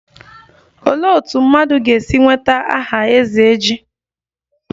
Olee otú mmadụ ga-esi nweta aha 'ezeji'?